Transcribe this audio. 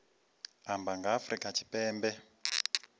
amba nga ha afrika tshipembe